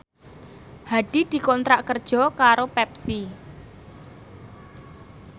Hadi dikontrak kerja karo Pepsi